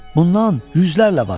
Bundan yüzlərlə var.